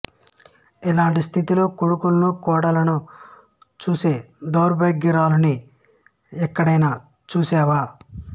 ఇలాంటి స్థితిలో కొడుకులను కోడళ్ళను చూసే ధౌర్భాగ్యురాలిని ఎక్కడైనా చూసావా